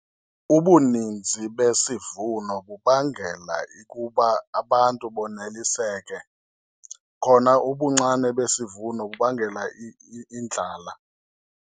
Ubuninzi besivuno kubangela ukuba abantu banoliseke, khona ubuncane besivuno kubangela indlala.